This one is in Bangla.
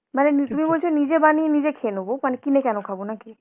মানে নি~ তুমি বলছো নিজে বানিয়ে নিজে খেয়ে নেব, মানে কি না কেন খাবো নাকি?